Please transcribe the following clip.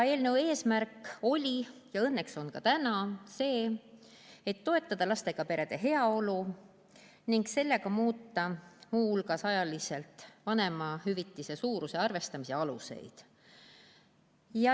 Eelnõu eesmärk oli ja õnneks on ka täna see, et toetada lastega perede heaolu ning muuta sellega muu hulgas ajaliselt vanemahüvitise suuruse arvestamise aluseid.